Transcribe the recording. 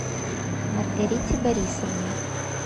маргарите борисовне